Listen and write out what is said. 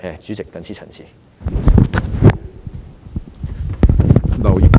主席，我謹此陳辭。